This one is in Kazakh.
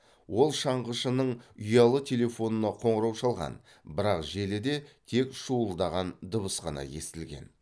ол шаңғышының ұялы телефонына қоңырау шалған бірақ желіде тек шуылдаған дыбыс қана естілген